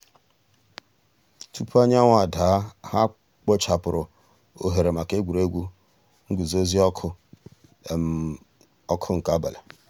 túpọ̀ ànyáńwụ̀ dàá hà kpochàpùrù òhèrè mǎká ègwè́ré́gwụ̀ ngùzòzì ǒkụ̀ ǒkụ̀ nke àbàlị̀.